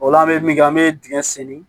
O la an be min kɛ an be dingɛ seni